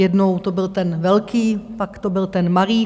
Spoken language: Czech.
Jednou to byl ten velký, pak to byl ten malý.